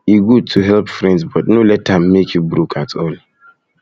e good to help friends but no let am make you broke at all